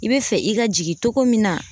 I bɛ fɛ i ka jigin cogo min na